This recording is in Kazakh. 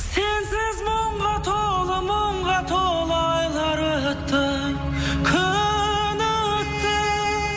сенсіз мұңға толы мұңға толы айлар өтті күн өтті